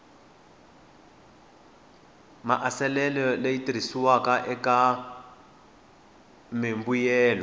maasesele leyi tirhisiwaka eka mimbuyelo